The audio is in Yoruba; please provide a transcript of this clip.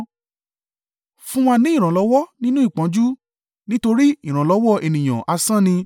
Fún wa ní ìrànlọ́wọ́ nínú ìpọ́njú, nítorí ìrànlọ́wọ́ ènìyàn asán ni.